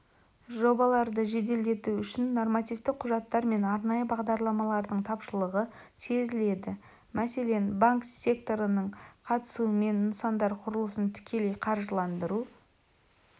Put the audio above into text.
жобаларды жеделдету үшін нормативтік құжаттар мен арнайы бағдарламалардың тапшылығы сезіледі мәселен банк ссекторының қатысуымен нысандар құрылысын тікелей қаржыландыру